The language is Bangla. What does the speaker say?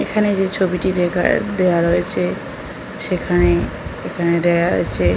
এখানে যে ছবিটি দেখা দেওয়া রয়েছে সেখানে এখানে দেওয়া আছে --